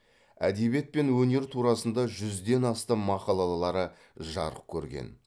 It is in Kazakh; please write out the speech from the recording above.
әдебиет пен өнер турасында жүзден астам мақалалары жарық көрген